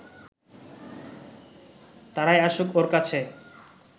তারাই আসুক ওর কাছে